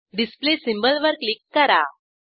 display symbol वर click करा